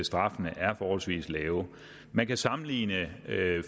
straffene er forholdsvis lave man kan sammenligne